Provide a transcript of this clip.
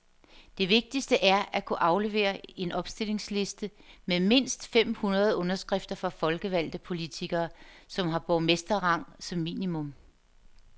Det vigtigste er at kunne aflevere en opstillingsliste med mindst fem hundrede underskrifter fra folkevalgte politikere, som har borgmesterrang som minimum.